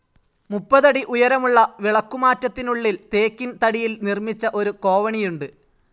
മുപ്പതടി ഉയരമുളള വിളക്കുമാറ്റത്തിനുളളിൽ ടീക്ക്‌ തടിയിൽ നിർമിച്ച ഒരു കോവണിയുണ്ട്.